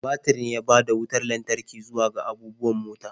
Batir ne ya bada wutar lantarki zuwa ga abubuwan mota.